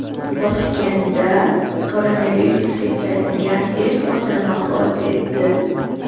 Toshkentda koronavirusga chalingan er-xotin vafot etdi.